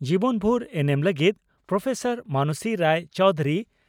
ᱡᱤᱵᱚᱱ ᱵᱷᱩᱨ ᱮᱱᱮᱢ ᱞᱟᱹᱜᱤᱫ ᱯᱨᱹ ᱢᱟᱱᱚᱥᱤ ᱨᱟᱭ ᱪᱚᱣᱫᱷᱩᱨᱤ